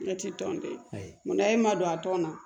Ne tɛ tɔn den mun na e ma don a tɔn na